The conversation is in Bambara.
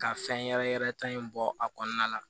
Ka fɛn yɛrɛ yɛrɛ ta in bɔ a kɔnɔna la